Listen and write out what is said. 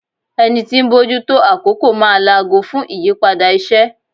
Ẹni tí ń bójú tó àkókò máa laago fún ìyípadà iṣẹ́.